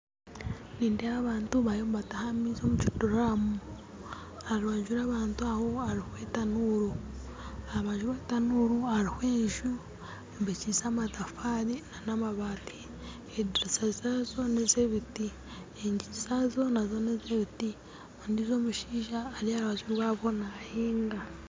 Nindeeba abantu bariyo nibataaha amaizi omu kiduuramu aha rubanju rw'abanru aho hariho etanuuru aha rubanju rw'etanuuru hariho enju eyombekyise amatafaari n'amabaati ediriisa zaazo n'ez'ebiti enyingi zaazo nazo n'ez'ebiti ondiijo omushaija ari aharubanju rwabo naahinga